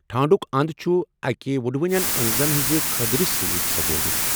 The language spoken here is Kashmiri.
ٹھانٛڈک انٛد چُھ اكہِ وٕڈونین أنٛزن ہٕنٛزِ كھدرِ سۭتۍ سجٲوِتھ ۔